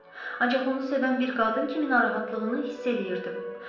Ancaq onu sevən bir qadın kimi narahatlığını hiss eləyirdim.